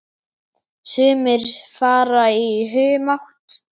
Sumir fara í humátt.